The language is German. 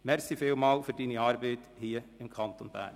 Danke vielmals für Ihre Arbeit für den Kanton Bern!